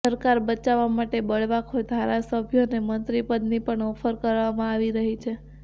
સરકાર બચાવવા માટે બળવાખોર ધારાસભ્યોને મંત્રી પદની પણ ઓફર કરવામાં આવી રહી છે